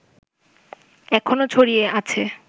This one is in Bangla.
এখনো ছড়িয়ে আছে